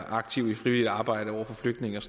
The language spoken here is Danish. aktive i frivilligt arbejde over for flygtninge og